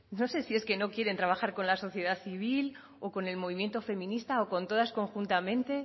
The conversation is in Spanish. no sé si es que no quieren trabajar con la sociedad civil o con el movimiento feminista o con todas conjuntamente